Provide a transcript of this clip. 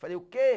Falei, o quê?